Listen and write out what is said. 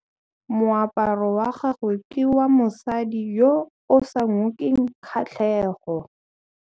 Moaparô wa gagwe ke wa mosadi yo o sa ngôkeng kgatlhegô.